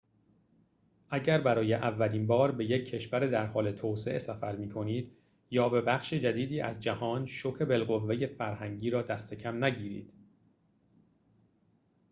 اگر برای اولین بار به یک کشور در حال توسعه سفر می کنید یا به بخشی جدید از جهان شوک بالقوه فرهنگی را دست کم نگیرید